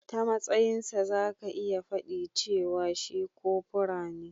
Ta matsayin sa zaka iya fadi cewa shi kopura ne.